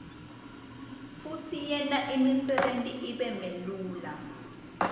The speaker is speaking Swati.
futsi yenta imsebenti ibelula